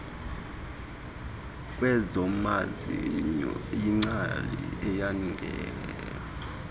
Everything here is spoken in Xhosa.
kwezamazinyo yingcali eyanga